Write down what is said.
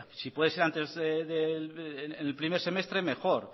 si puede ser en el primer semestre mejor